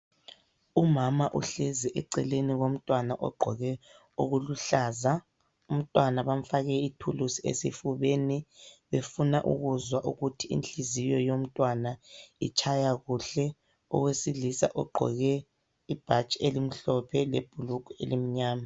Umama uhlezi eceleni komntwana ogqoke okuluhlaza, umntwana bamfake ithuluzi esifubeni befuna ukuzwa ukuthi inhliziyo yomntwana itshaya kuhle, owesilisa ogqoke ibhatshi elimhlophe lebhulugwe elimnyama.